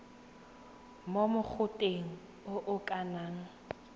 mo mogoteng o o lekanang